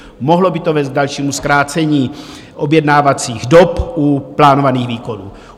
Mohlo by to vést k dalšímu zkrácení objednacích dob u plánovaných výkonů.